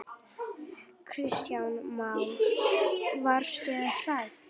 Kristján Már: Varstu hrædd?